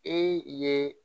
E ye